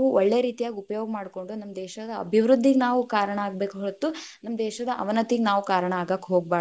ಒಳ್ಳೇ ರೀತಿಯಾಗ ಉಪಯೋಗ್ ಮಾಡ್ಕೊಂಡ್‌, ನಮ್ಮ ದೇಶಾದ ಅಭಿವೃದ್ಧಿಗ್ ನಾವು ಕಾರಣಾ ಆಗಬೇಕ್ ಹೊರತು ನಮ್ಮ ದೇಶದ ಅವನತಿಗ್ ನಾವ್‌ ಕಾರಣಾ ಆಗಾಕ್ ಹೋಗ್ಬಾಡದ್.